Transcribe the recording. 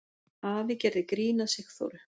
Afi gerði grín að Sigþóru.